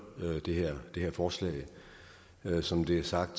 det her forslag som det er sagt